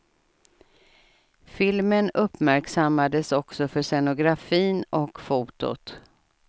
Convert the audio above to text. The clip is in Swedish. Filmen uupmärksammades också för scenografin och fotot.